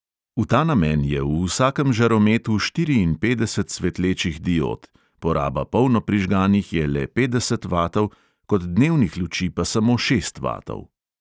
V ta namen je v vsakem žarometu štiriinpetdeset svetlečih diod, poraba polno prižganih je le petdeset vatov, kot dnevnih luči pa samo šest vatov.